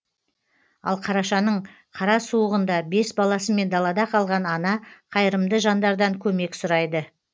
ал қарашаның қара суығында бес баласымен далада қалған ана қайырымды жандардан көмек сұрайды